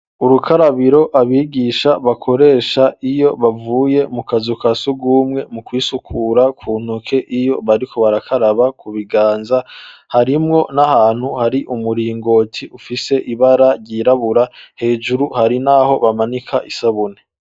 Urukarabiro abigisha bakoresha iyo bavuye mu kazu umkasugumwe mu kwisukura kuntoke iyo bariko barakaraba ku biganza harimwo n'ahantu hari umuringoti ufise ibara ryirabura hejuru hari n'aho bamanika isabune.